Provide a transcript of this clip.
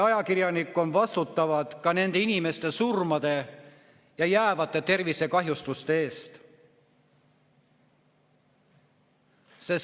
Ajakirjanikud on vastutavad nende inimeste surmade ja jäävate tervisekahjustuste eest.